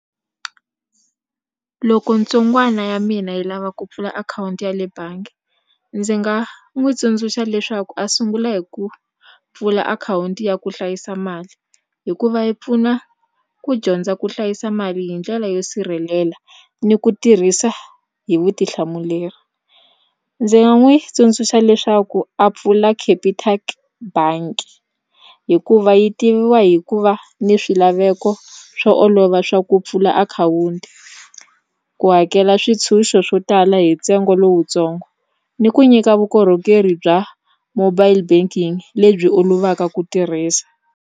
Loko ntsongwana ya mina yi lava ku pfula akhawunti ya le bangi ndzi nga n'wi tsundzuxa leswaku a sungula hi ku pfula akhawunti ya ku hlayisa mali hikuva yi pfuna ku dyondza ku hlayisa mali hi ndlela yo sirhelela ni ku tirhisa hi vutihlamuleri ndzi nga n'wi tsundzuxa leswaku a pfula Capitec bangi hikuva yi tiviwa hi ku va ni swilaveko swo olova swa ku pfula akhawunti ku hakela swintshuxo swo tala hi ntsengo lowutsongo ni ku nyika vukorhokeri bya mobile banking lebyi olovaka ku tirhisa.